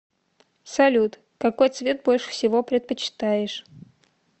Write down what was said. салют какой цвет больше всего предпочитаешь